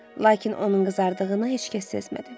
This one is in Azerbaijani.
Lakin onun qızardığını heç kəs sezmədi.